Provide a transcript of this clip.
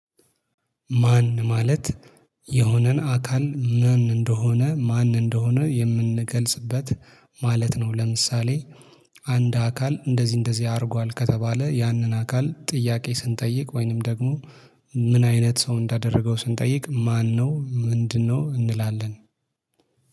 ማን ማለት የሆነን አካል ማን እንደሆነ ማን እንደሆነ የምንገልጽበት ማለት ነው። ለምሳሌ አንድ አካል እንደዚህ እንደዚህ አድርጓል ከተባለ ያንን አካል ጥያቄ ስንጠይቅ ወይንም ደግሞ ምን አይነት ሰው እንዳደረገው ስንጠይቅ ማነው ምንድነው እንላለን